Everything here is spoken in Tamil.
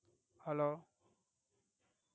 Hello